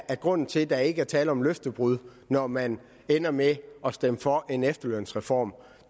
at grunden til at der ikke tale om løftebrud når man ender med at stemme for en efterlønsreform